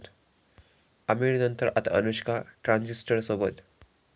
आमिरनंतर आता अनुष्का ट्रान्झिस्टरसोबत...!